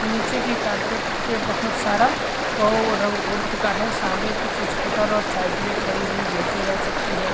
नीचे की कारपेट पे बहुत सारा वो रंग उड़ चूका है सामने कुछ स्कूटर और साइकलें खड़ी हुई देखी जा सकती है।